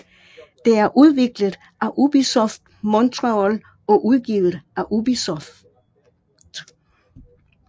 Det er udviklet af Ubisoft Montreal og udgivet af Ubisoft